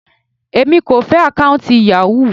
Èmi kò fẹ́ àkọ́ùntì Yahoo.